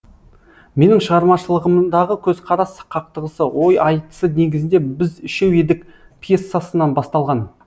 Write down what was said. менің шығармашылығымдағы көзқарас қақтығысы ой айтысы негізінде біз үшеу едік пьесасынан басталған